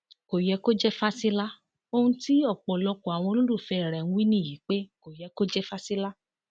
kò yẹ kó jẹ fásilà ohun tí ọpọlọpọ àwọn olólùfẹ rẹ ń wí nìyí pé kò yẹ kó jẹ fásilà